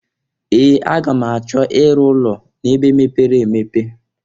Ee! Aga m achọ ịrụ ụlọ n'ebe mepere emepe.